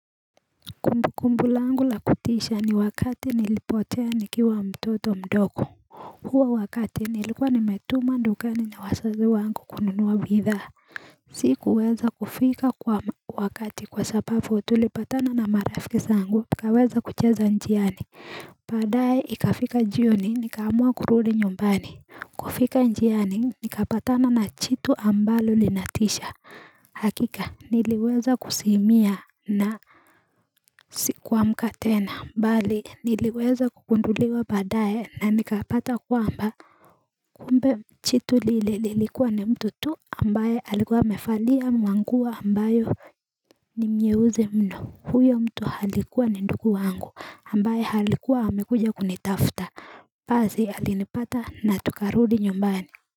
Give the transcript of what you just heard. Kumbukumbu yangu ya kutisha ni wakati nilipotea nikiwa mtoto mdogo huo ni wakati nilikuwa nimetumwa dukani na wazazi wangu kununua bidhaa Sikuweza kufika kwa wakati kwa sababu tulipatana na marafiki zangu tukaweza kucheza njiani baadaye ikafika jioni nikaamua kurudi nyumbani kufika njiani nikapatana na iitu ambalo linatisha Hakika niliweza kuzimia na Sikuamka tena bali niliweza kugunduliwa baadaye na nikapata kwamba Kumbe jitu lilikuwa ni mtu tu ambaye alikuwa amevalia manguo ambayo ni nyeusi mno huyo mtu alikuwa ni ndugu wangu ambaye alikuwa amekuja kunitafuta basi alinipata na tukarudi nyumbani.